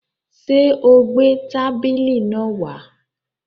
Sé o gbé tábìlì náà wá?